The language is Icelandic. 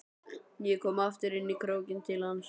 Ég kom aftur inn í krókinn til hans.